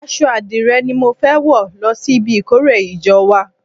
Aṣọ adire ni mo fẹ́ wò lọ sí ibi ìkórè ìjọ wa.